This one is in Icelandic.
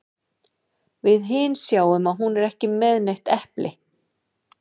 Við hin sjáum að hún er ekki með neitt epli.